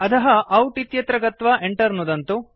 अधः आउट इत्यत्र गत्वा Enter नुदन्तु